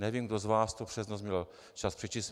Nevím, kdo z vás to přes noc měl čas přečíst.